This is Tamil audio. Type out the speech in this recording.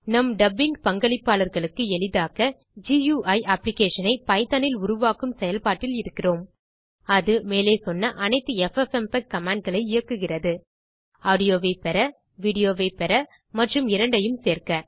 நம் டப்பிங் பங்களிப்பாளர்களுக்கு எளிதாக்க குயி அப்ளிகேஷன் ஐ பைத்தோன் இல் உருவாக்கும் செயல்பாட்டில் இருக்கிறோம் அது மேலே சொன்ன அனைத்து எஃப்எப்எம்பெக் கமாண்ட் களை இயக்குகிறது - Audioஐ பெற Videoஐ பெற மற்றும் இரண்டையும் சேர்க்க